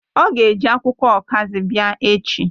O ga-eji akwukwo okazi bia echi